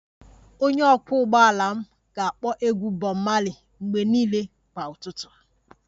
Onye ọkwọ ụgbọala m ga-akpọ egwu Bob marley mgbe niile kwa ụtụtụ